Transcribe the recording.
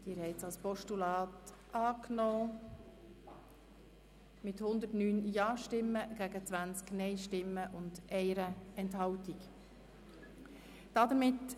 Sie haben dieses Postulat mit 109 Ja- zu 20 Nein-Stimmen bei 1 Enthaltung angenommen.